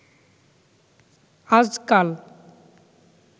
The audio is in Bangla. আজকাল